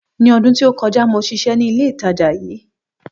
Ní ọdún tó kọjá, mo sisé ní ilé ìtajà yí